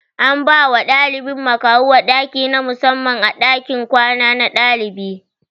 An bawa ɗaliba makahuwa ɗaki na musamman a ɗakin kwana na ɗalibai